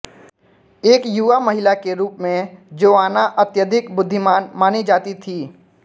एक युवा महिला के रूप में जोआना अत्यधिक बुद्धिमान मानी जाती थी